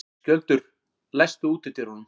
Skjöldur, læstu útidyrunum.